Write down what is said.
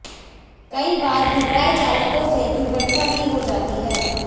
कई बार घबराए चालकों से दुर्घटना भी हो जाती है